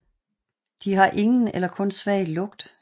De har ingen eller kun svag lugt